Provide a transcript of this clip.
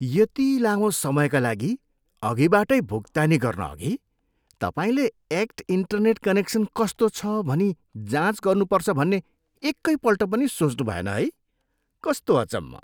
यति लामो समयका लागि अघिबाटै भुक्तानी गर्नअघि तपाईँले एक्ट इन्टेरनेट कनेक्सन कस्तो छ भनी जाँच गर्नुपर्छ भन्ने एकैपल्ट पनि सोच्नुभएन है? कस्तो अचम्म!